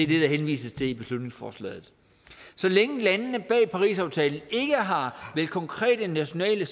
det der henvises til i beslutningsforslaget så længe landene bag parisaftalen ikke har meldt konkrete nationale